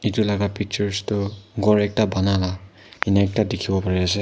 etu laga pictures tu ghor ekta bana lah enka ekta dikhi ase.